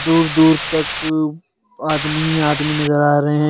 दूर दूर तक आदमी आदमी नजर आ रहे है।